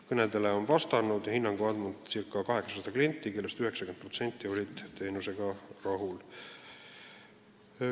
Kõnedele on vastanud ja hinnangu andnud ca 800 klienti, kellest 90% oli teenusega rahul.